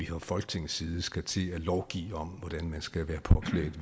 fra folketingets side skal til at lovgive om hvordan man skal være påklædt